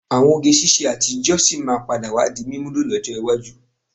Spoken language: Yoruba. Àwọn oge ṣiṣẹ́ àtijọ́ sì máa padà wá di mímúlò lọ́jọ́ iwájú.